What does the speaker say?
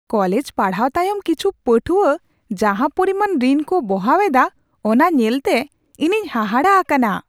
College ᱯᱟᱲᱦᱟᱣ ᱛᱟᱭᱚᱢ ᱠᱤᱪᱷᱩ ᱯᱟᱹᱴᱷᱣᱟᱹ ᱡᱟᱦᱟᱸ ᱯᱚᱨᱤᱢᱟᱱ ᱨᱤᱱ ᱠᱚ ᱵᱚᱦᱟᱣ ᱮᱫᱟ ᱚᱱᱟ ᱧᱮᱞᱛᱮ ᱤᱧᱤᱧ ᱦᱟᱦᱟᱲᱟᱜ ᱟᱠᱟᱱᱟ ᱾